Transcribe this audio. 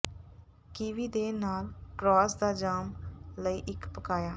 kiwi ਦੇ ਨਾਲ ਕਰੌਸ ਦਾ ਜਾਮ ਲਈ ਇੱਕ ਪਕਾਇਆ